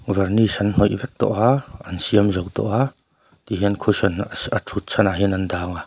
varnish an hnawih vek tawh a an siam zo tawh a tihian cushion a a thut chhan ah hian an dah anga.